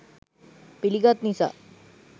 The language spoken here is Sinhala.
පිළිගත් නිසා